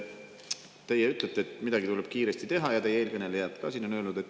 Teie ütlete, et midagi tuleb kiiresti teha, ja eelkõnelejad on ka siin seda öelnud.